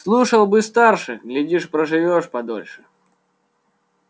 слушал бы старших глядишь проживёшь подольше